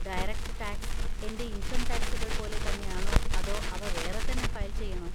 Direct tax എൻ്റെ income ടാക്‌സുകൾ പോലെ തന്നെയാണോ അതോ അവ വേറെത്തന്നെ ഫയൽ ചെയ്യണോ?